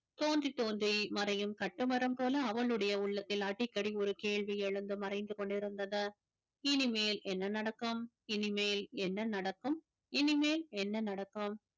தோன்றி தோன்றி மறையும் கட்டுமரம் போல அவளுடைய உள்ளத்தில் அடிக்கடி ஒரு கேள்வி எழுந்து மறைந்து கொண்டிருந்தது இனிமேல் என்ன நடக்கும் இனிமேல் என்ன நடக்கும் இனிமேல் என்ன நடக்கும்